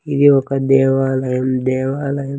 ఇది ఒక దేవాలయం దేవాలయం.